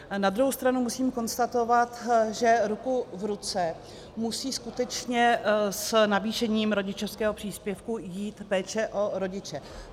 Na druhou stranu musím konstatovat, že ruku v ruce musí skutečně s navýšením rodičovského příspěvku jít péče o rodiče.